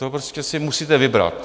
To prostě si musíte vybrat.